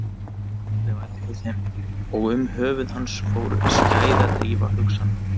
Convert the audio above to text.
Hann horfði á eftir þeim og um höfuð hans fór skæðadrífa hugsana.